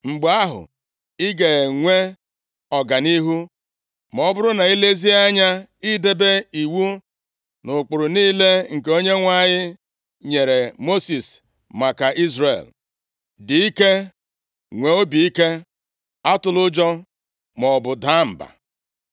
Mgbe ahụ, ị ga-enwe ọganihu, ma ọ bụrụ na i lezie anya idebe iwu na ụkpụrụ niile nke Onyenwe anyị nyere Mosis maka Izrel. Dị ike, nwee obi ike. Atụla ụjọ, maọbụ daa mba.